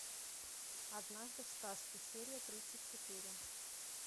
однажды в сказке серия тридцать четыре